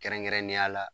Kɛrɛnkɛrɛnnenya la